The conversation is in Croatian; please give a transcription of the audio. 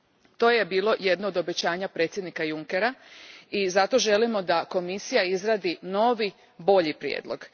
To je bilo jedno od obećanja predsjednika Junckera i zato želimo da Komisija izradi novi, bolji prijedlog.